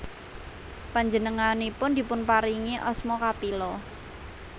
Panjengenganipun dipunparingi asma Kapila